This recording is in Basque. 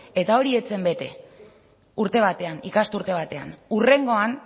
eta hori ez zen bete urte batean ikasturte batean hurrengoan